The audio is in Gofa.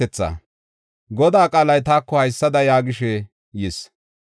Godaa qaalay taako haysada yaagishe yis: